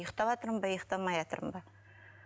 ұйықтаватырмын ба ұйықтамайатырмын ба